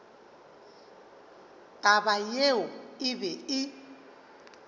taba yeo e be e